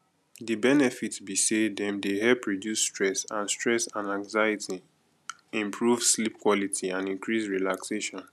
di benefit be say dem dey help reduce stress and stress and anxiety improve sleep quality and increase relaxation